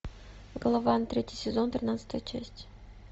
голован третий сезон тринадцатая часть